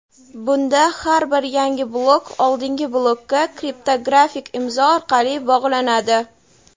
bunda har bir yangi blok oldingi blokka kriptografik imzo orqali bog‘lanadi.